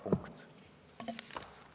Punkt.